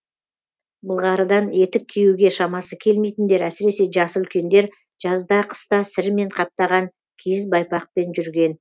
былғарыдан етік киюге шамасы келмейтіндер әсіресе жасы үлкендер жазда қыста сірімен қаптаған киіз байпақпен жүрген